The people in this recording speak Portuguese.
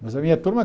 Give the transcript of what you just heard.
Mas a minha turma